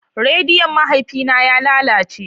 Rediyon mahaifina ya lalace.